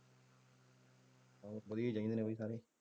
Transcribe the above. ਵਧੀਆ ਹੀ ਚਾਹੀਦੇ ਨੇ ਬਾਈ ਸਾਰੇ।